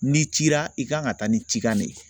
N'i cira i kan ka taa ni cikan ne ye